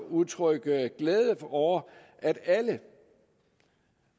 udtrykke glæde over at alle